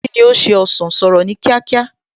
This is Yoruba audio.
Kíni ó ṣe ọsàn, sọ̀rọ̀ ní kíákíá!